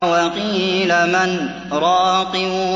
وَقِيلَ مَنْ ۜ رَاقٍ